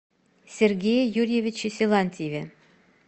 сергее юрьевиче силантьеве